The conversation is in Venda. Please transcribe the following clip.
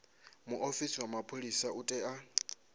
muofisi wa mapholisa u tea